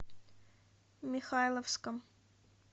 михайловском